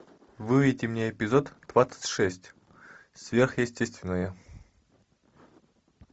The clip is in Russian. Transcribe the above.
выведи мне эпизод двадцать шесть сверхъестественное